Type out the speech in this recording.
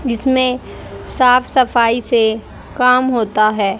इसमें साफ सफाई से कम होता है।